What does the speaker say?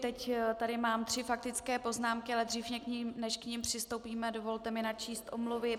Teď tady mám tři faktické poznámky, ale dřív než k nim přistoupíme, dovolte mi načíst omluvy.